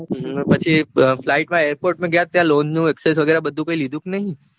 ત્યાં પછી flight માં airport પાર ગયા ત્યાં lone નું લીધું કે નઈ